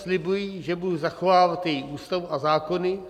Slibuji, že budu zachovávat její Ústavu a zákony.